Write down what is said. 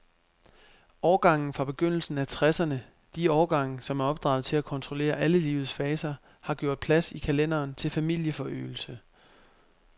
Årgangene fra begyndelsen af tresserne, de årgange, som er opdraget til at kontrollere alle livets faser, har gjort plads i kalenderen til familieforøgelse.